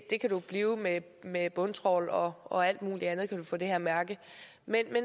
det kan du blive og med med bundtrawl og og alt muligt andet kan du få det her mærke men